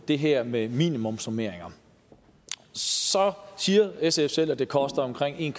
det her med minimumsnormeringer siger sf selv at det koster omkring en